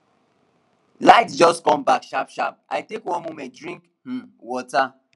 light just come back sharpsharp i take one moment drink um water